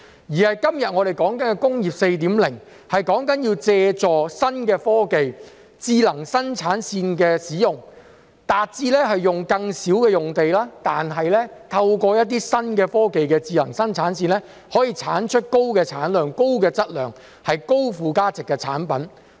我們今天所說的"工業 4.0"， 是要借助新的科技、智能生產線的使用，達致使用更少用地，透過一些新的科技及智能生產線，來生產高產量、高質量及高附加值的產品。